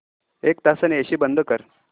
एक तासाने एसी बंद कर